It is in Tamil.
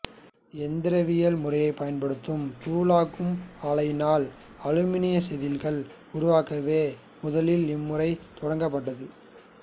இயந்திரவியல் முறைகளைப் பயன்படுத்தும் தூளாக்கும் ஆலையினால் அலுமினியம் செதில்கள் உருவாக்கவே முதலில் இம்முறை தொடங்கப்பட்டது